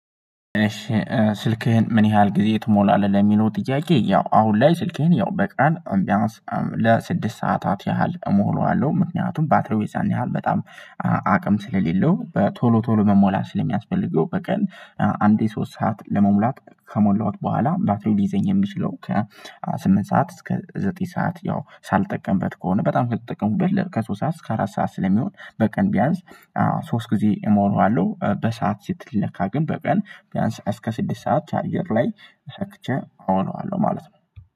ስልክህን ምን ያህል ጊዜ ትሞላለህ? ለሚለው ጥያቄ ያው አሁን ላይ ስልክህን ያው በቀን ቢያንስ ለስድስት ሰዓታት ያህል እምላዋለው ምክንያቱም ባትሪው የዛን ያህል በጣም አቅም ስለሌለው በቶሎ ቶሎ መሞላት ስለሚያስፈልገው በቀን አንዴ ሶስት ሰዓት ለመሙላት ከሞላሁት በኋላ ባትሪው ሊይዘኝ የሚችለው ከስምንት ሰዓት እስከ ዘጠኝ ሰዓት ያው ሳልጠቀምበት ከሆነ በጣም ከተጠቀሙበት ከሶስት ሰዓት እስከ አራት ሰዓት ስለሚሆን በቀን ቢያንስ ሶስት ጊዜ እሞላዋለሁ። በሰአት ሲትል ለካ ግን በቀን ቢያንስ እስከ ስድስት ሰዓት ቻርጀር ላይ ሰክቼ እሆናለሁ ማለት ነው